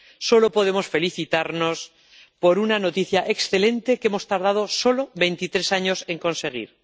solo podemos felicitarnos por una noticia excelente que hemos tardado solo veintitrés años en conseguir.